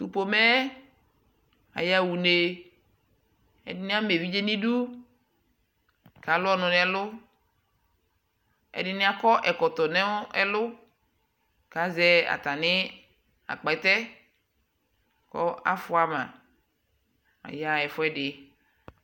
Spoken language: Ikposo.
tʋ pɔmɛ aya ʋnɛ, ɛdini ama ɛvidzɛ nʋ idʋ kʋ alʋ ɔnʋ nʋ ɛlʋ, ɛdini akɔ ɛkɔtɔ nʋ ɛlʋ kʋazɛ atani agbɛtɛ kʋ afʋa ma, aya ɛƒʋɛdi